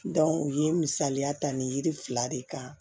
u ye misaliya ta nin yiri fila de kan